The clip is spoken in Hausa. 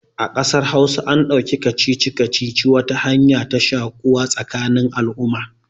A ƙasar hausa an ɗauki kacici-kacici wata hanya ta shaƙuwa tsakanin al'umma